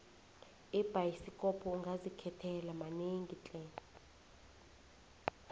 ebhayisikopo ungazikhethela manengi tle